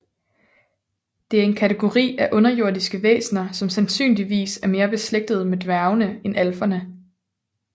Det er en kategori af underjordiske væsener som sandsynligvis er mere beslægtet med dværgene end alferne